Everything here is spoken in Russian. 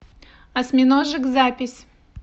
осьминожек запись